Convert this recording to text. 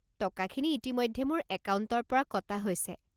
টকাখিনি ইতিমধ্যে মোৰ একাউণ্টৰ পৰা কটা হৈছে।